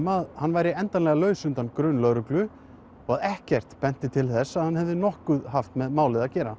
að hann væri endanlega laus undan grun lögreglu og ekkert benti til þess að hann hefði nokkuð með málið að gera